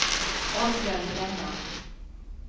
Oddbjørn Brenna